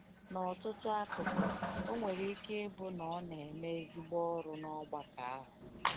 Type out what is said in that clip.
N’ọtụtụ akụkụ, o nwere ike ịbụ na ọ na-eme ezigbo ọrụ n’ọgbakọ ahụ.